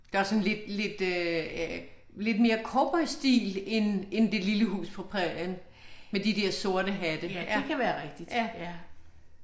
Det er også sådan lidt lidt øh lidt mere cowboystil end end det lille hus på prærien med de der sorte hatte. Ja